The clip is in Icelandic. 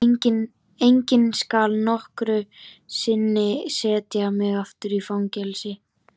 Enginn skal nokkru sinni setja mig aftur í fangelsi.